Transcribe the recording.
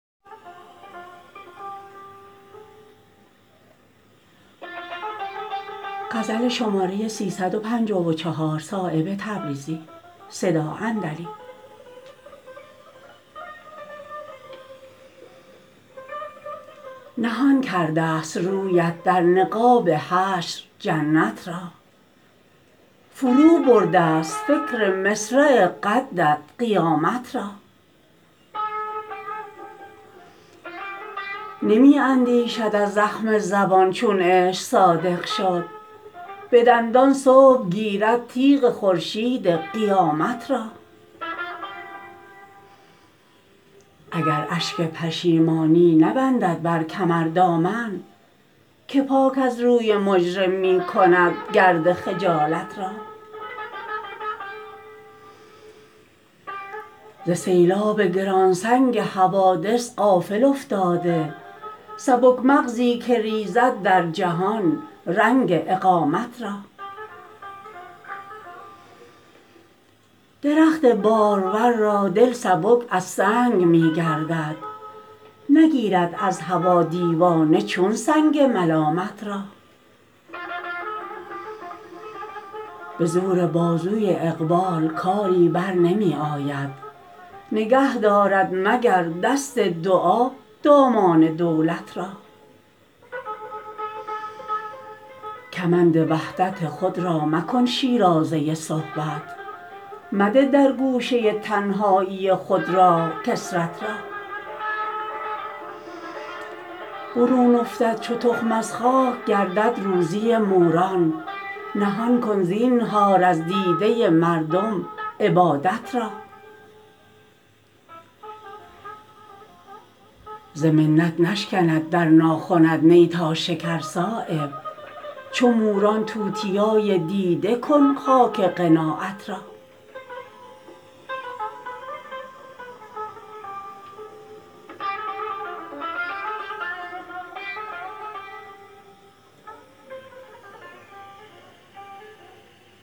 نهان کرده است رویت در نقاب حشر جنت را فرو برده است فکر مصرع قدت قیامت را نمی اندیشد از زخم زبان چون عشق صادق شد به دندان صبح گیرد تیغ خورشید قیامت را اگر اشک پشیمانی نبندد بر کمر دامن که پاک از روی مجرم می کند گرد خجالت را ز سیلاب گرانسنگ حوادث غافل افتاده سبک مغزی که ریزد در جهان رنگ اقامت را درخت بارور را دل سبک از سنگ می گردد نگیرد از هوا دیوانه چون سنگ ملامت را به زور بازوی اقبال کاری برنمی آید نگه دارد مگر دست دعا دامان دولت را کمند وحدت خود را مکن شیرازه صحبت مده در گوشه تنهایی خود راه کثرت را برون افتد چو تخم از خاک گردد روزی موران نهان کن زینهار از دیده مردم عبادت را ز منت نشکند در ناخنت نی تا شکر صایب چو موران توتیای دیده کن خاک قناعت را